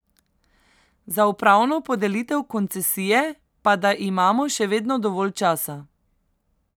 Za upravno podelitev koncesije pa da imamo še vedno dovolj časa.